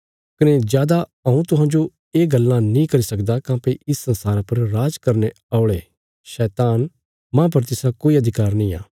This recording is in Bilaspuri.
कने जादा हऊँ तुहांजो ये गल्लां नीं करी सकदा काँह्भई इस संसारा पर राज करने औणे औल़ा शैतान माह पर तिसरा कोई अधिकार नींआ